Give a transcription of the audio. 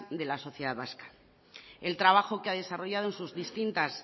de la sociedad vasca el trabajo que ha desarrollado en sus distintas